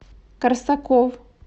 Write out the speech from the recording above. корсаков